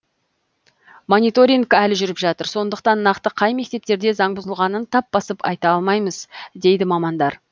мониторинг әлі жүріп жатыр сондықтан нақты қай мектептерде заң бұзылғанын тап басып айта алмаймыз дейді мамандар